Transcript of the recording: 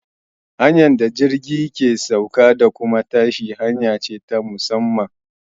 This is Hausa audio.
Hanyar da jirgi ke sauka da kuma tashi hanya ce ta musamman.